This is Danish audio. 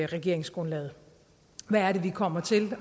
regeringsgrundlaget hvad er det vi kommer til